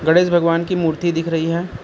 गणेश भगवान की मूर्ति दिख रही है।